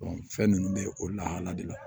fɛn ninnu bɛ o lahala de la